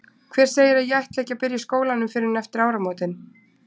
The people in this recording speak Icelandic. Hver segir að ég ætli ekki að byrja í skólanum fyrr en eftir áramótin?